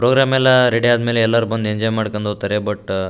program ಎಲ್ಲ ready ಆದ್ಮೇಲೆ ಎಲ್ರು ಬಂದು ಎಂಜಾಯ್ ಮಾಡ್ಕೊಂಡ್ ಹೋಗ್ತಾರೆ ಬುಟ್ಟು --